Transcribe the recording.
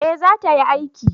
eh za ta yi aiki